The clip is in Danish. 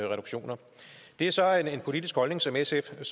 reduktioner det er så en politisk holdning som sf kan